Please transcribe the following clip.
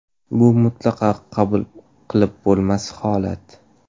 Bu mutlaqo qabul qilib bo‘lmas holat.